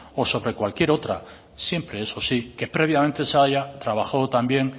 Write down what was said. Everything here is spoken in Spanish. o sobre cualquier otra siempre eso sí que previamente se haya trabajado también